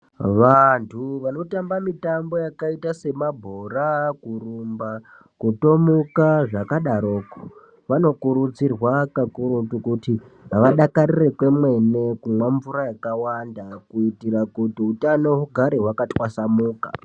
Vantu vanotamba mitambo yakaita semabhora kurumba kutomuka zvakudaroko vanokurudzirwa kakurutu kuti vadakarire kwemene kumwa yakawanda kuitira kuti utano ugare wakatwasamuka.